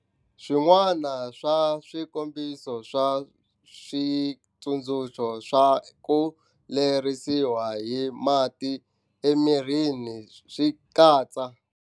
Swin'wana swa swikombiso swa xitsundzuxo swa ku lerisiwa hi mati emirini swi katsa.